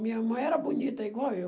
Minha mãe era bonita, igual eu.